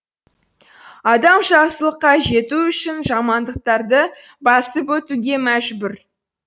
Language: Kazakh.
адам жақсылыққа жету үшін жамандықтарды басып өтуге мәжбүр